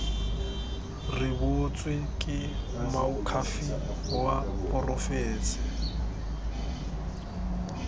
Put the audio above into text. rebotswe ke moakhaefe wa porofense